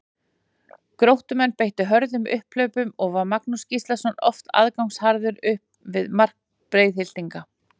Gróttumenn beittu hröðum upphlaupum og var Magnús Gíslason oft aðgangsharður upp við mark Breiðhyltinga.